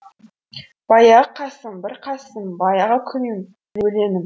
баяғы қасым бір қасым баяғы күйім өлеңім